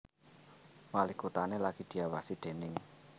Walikotané lagi diawasi déning